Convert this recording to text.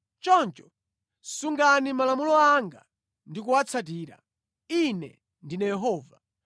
“Choncho sungani malamulo anga ndi kuwatsatira. Ine ndine Yehova.